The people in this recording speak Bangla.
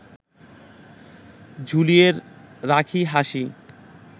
ঝুলিয়ে রাখি হাসি